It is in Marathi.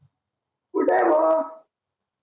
कुठ आहे भाऊ